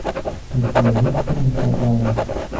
у тебя есть клан сопрано